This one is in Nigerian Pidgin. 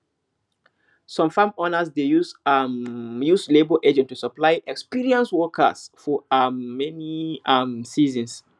some farm owners dey um use labour agents to supply experienced workers for um many um seasons